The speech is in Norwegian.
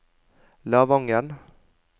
Lavangen